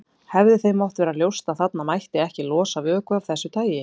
Hafsteinn: Hefði þeim mátt vera ljóst að þarna mætti ekki losa vökva af þessu tagi?